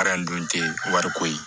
dun tɛ wariko ye